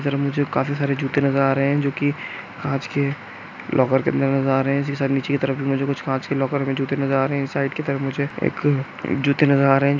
मुझे काफी सारे जूते नजर आ रहे है जो की कांच के लॉकर के अंदर नजर आ रहे है इसी के साइड नीचे की तरफ भी मुझे कुछ कांच के लॉक में जूते नजर आ रहे है इस साइड के तरफ मुझे एक जूते नजर आ रहे है।